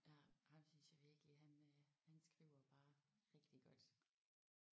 Ja ham synes jeg virkelig han øh han skriver bare rigtig godt